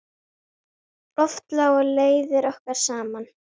Oft lágu leiðir okkar saman.